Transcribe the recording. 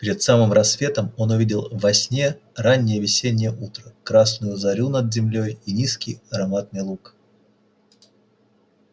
перед самым рассветом он увидел во сне раннее весеннее утро красную зарю над землёй и низкий ароматный луг